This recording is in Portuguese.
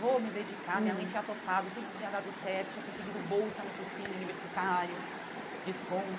Vou me dedicar, minha mãe tinha topado, tudo tinha dado certo, tinha conseguido bolsa no cursinho universitário, ah desconto.